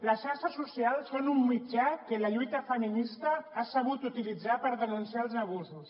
les xarxes socials són un mitjà que la lluita feminista ha sabut utilitzar per denunciar els abusos